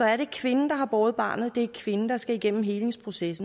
er det kvinden der har båret barnet det er kvinden der skal igennem helingsprocessen